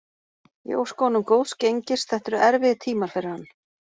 Ég óska honum góðs gengis, þetta eru erfiðir tímar fyrir hann.